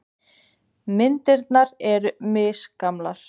Myndirnar eru misgamlar.